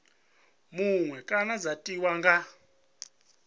muṅwe kana dza tiwa nga